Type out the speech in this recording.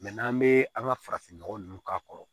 n'an bɛ an ka farafin nɔgɔ ninnu k'a kɔrɔ